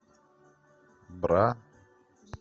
бра